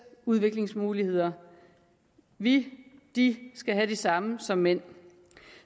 udviklingsmuligheder vi de skal have de samme som mænd